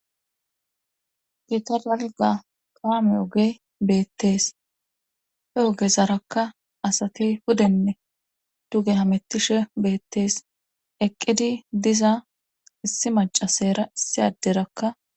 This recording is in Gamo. gitalalga qaameyoge beettees heogesarakka asati hudenne tuge hamettishe beettees eqqidi diza issi macasayera issi adderakka